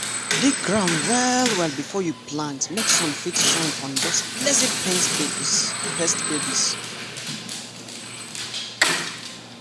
dig ground well well before you plant make sun fit shine on those lazy pest babies.